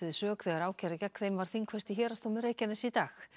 sök þegar ákæra gegn þeim var þingfest í Héraðsdómi Reykjaness í dag